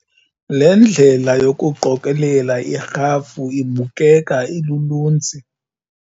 Le ndlela yokuqokelela irhafu ibukeka iluluntsi.